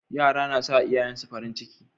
Yara na sa iyayen su farin ciki